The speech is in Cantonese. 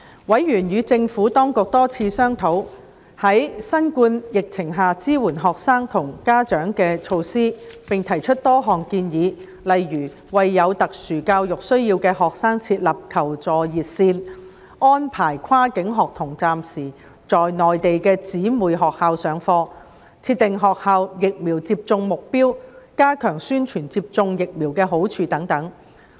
委員與政府當局多次商討在新冠疫情下支援學生和家長的措施，並提出多項建議，例如為有特殊教育需要的學生設立求助熱線、安排跨境學童暫時在內地的姊妹學校上課、設定學校疫苗接種目標、加強宣傳接種疫苗的好處等。